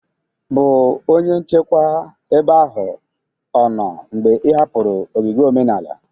bụ onye nchekwa ebe ahụ o noo mgbe ị hapụrụ ogige omenala